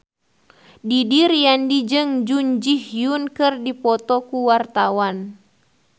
Didi Riyadi jeung Jun Ji Hyun keur dipoto ku wartawan